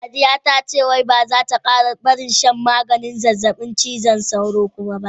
Sadiya ta ce wai ba za ta kara barin shan rabin maganin zazzabin cizon sauro kuma ba.